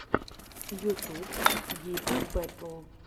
ютуб гита бэтл